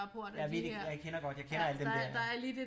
Jeg ved jeg kender godt jeg kender alle dem dér